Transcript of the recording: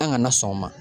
An kana na sɔn o ma